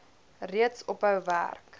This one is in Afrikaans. reeds ophou werk